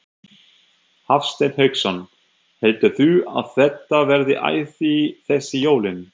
Hafsteinn Hauksson: Heldurðu að þetta verði æði þessi jólin?